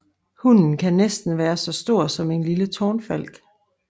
Hunnen kan næsten være så stor som en lille tårnfalk